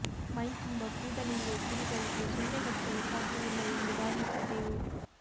ಮೈ ತುಂಬ ಕೂದಲು ಇರುವ ಕುರಿಗಳಿಗೆ ಸೊಳ್ಳೆ ಕಚ್ಚಲು ಸಾಧ್ಯವಿಲ್ಲ ಎಂದು ಭಾವಿಸಿದ್ದೇವು